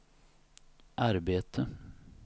arbete